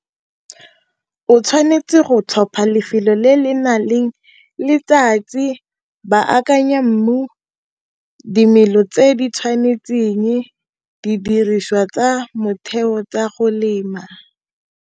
O tshwanetse go tlhopha lefelo le le nang le letsatsi, ba akanya mmu, dimelo tse di tshwanetseng, didiriswa tsa motheo tsa go lema.